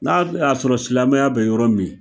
N'a d a sɔrɔ silamɛya bɛ yɔrɔ min